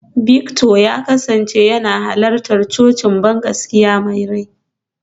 Victor ya kasance yana halartar cocin bangaskiya mai rai.